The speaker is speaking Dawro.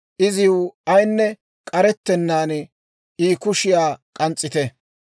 iziw ayinne k'arettennaan I kushiyaa k'ans's'ite.